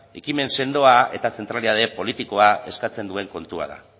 ekimen sendoa eta zentralidade politikoa eskatzen duen kontua da